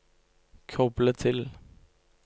koble til